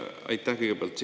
Aitäh!